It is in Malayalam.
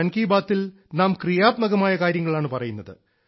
മൻ കി ബാത്തിൽ നാം ക്രിയാത്മകമായ കാര്യങ്ങളാണ് പറയുന്നത്